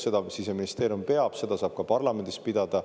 Seda Siseministeerium peab ja seda saab ka parlamendis pidada.